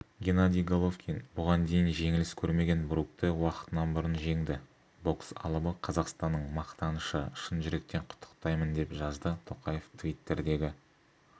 геннадий головкин бұған дейін жеңіліс көрмеген брукті уақытынан бұрын жеңді бокс алыбы қазақстанның мақтанышы шын жүректен құттықтаймын деп жазды тоқаев твиттердегі